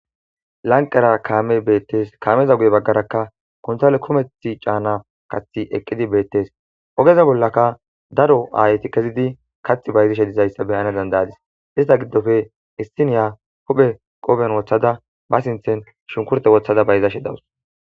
Lanqera kaame beettees kaameza guye baggarakka kontale kometh caana kathi eqqidi beettes ogeza bollaka daro aayti kezidi kath bayzishe dizayssa beyana dandayadis ista giddofe issiniya huphe qoben wothada ba sinthen shunkurte wothada bayzashe dawus.